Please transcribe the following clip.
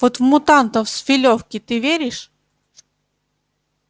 вот в мутантов с филёвки ты веришь